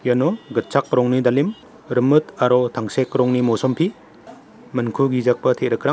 iano gitchak rongni dalim rimit aro tangsek rongni mosompi minkugijagipa te·rikrang --